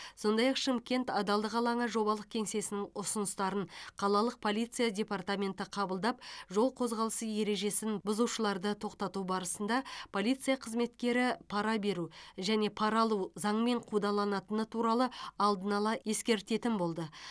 сондай ақ шымкент адалдық алаңы жобалық кеңсесінің ұсыныстарын қалалық полиция департаменті қабылдап жол қозғалысы ережесін бұзушыларды тоқтату барысында полиция қызметкері пара беру және пара алу заңмен қудаланатыны туралы алдын ала ескертетін болды